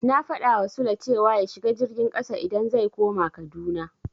Na faɗawa Sule cewa ya shiga jirgin ƙasa idan zai koma Kaduna.